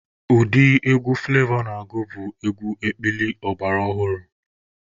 Ụdị egwu Fụlevọ na-agụ bụ egwu ekpili ọgbara ọhụrụ.